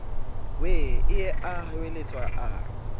wee ee a hweletsa a